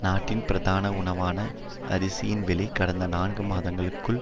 நாட்டின் பிரதான உணவான அரிசியின் விலை கடந்த நான்கு மாதங்களுக்குள்